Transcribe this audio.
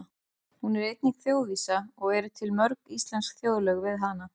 Hún er einnig þjóðvísa og til eru mörg íslensk þjóðlög við hana.